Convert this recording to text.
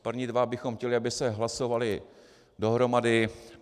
První dva bychom chtěli, aby se hlasovaly dohromady